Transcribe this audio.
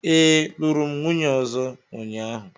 Ee, lụrụ m nwunye ọzọ ụnyahụ